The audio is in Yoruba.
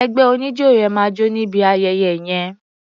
Ẹgbẹ́ oníjó rẹ máa jó níbi ayẹyẹ yẹn.